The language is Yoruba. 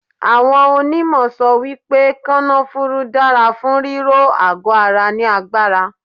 Awọ́n onímọ̀ sọ wípé kanafúrú dára fún ríró àgọ ara ní agbára.